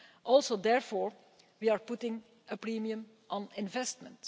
Also, therefore, we are putting a premium on investment.